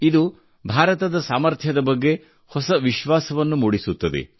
ಇದು ಭಾರತದ ಸಾಮರ್ಥ್ಯದ ಬಗ್ಗೆ ಹೊಸ ವಿಶ್ವಾಸವನ್ನು ಮೂಡಿಸುತ್ತದೆ